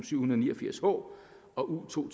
syvhundrede og niogfirs h og u to